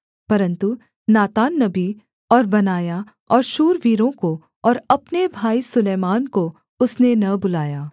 परन्तु नातान नबी और बनायाह और शूरवीरों को और अपने भाई सुलैमान को उसने न बुलाया